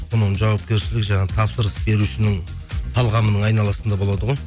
бұның жауапкершілігі жаңағы тапсырыс берушінің талғамының айналасында болады ғой